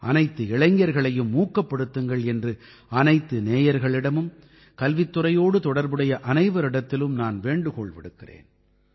அனைத்து இளைஞர்களையும் ஊக்கப்படுத்துங்கள் என்று அனைத்து நேயர்களிடமும் கல்வித்துறையோடு தொடர்புடைய அனைவரிடத்திலும் நான் வேண்டுகோள் விடுக்கிறேன்